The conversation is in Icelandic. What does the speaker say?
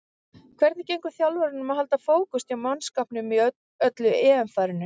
Hvernig gengur þjálfaranum að halda fókus hjá mannskapnum í öllu EM-fárinu?